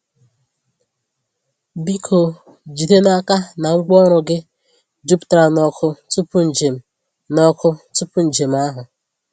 Biko jide n’aka na ngwaọrụ gị juputara n’ọkụ tupu njem n’ọkụ tupu njem ahụ.